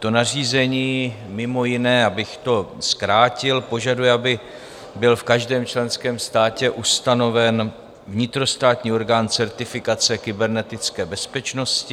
To nařízení mimo jiné, abych to zkrátil, požaduje, aby byl v každém členském státě ustanoven vnitrostátní orgán certifikace kybernetické bezpečnosti.